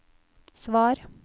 svar